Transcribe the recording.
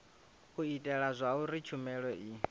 u itela zwauri tshumelo i